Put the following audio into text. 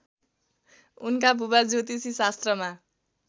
उनका बुबा ज्योतिषीशास्त्रमा